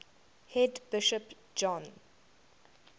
head bishop john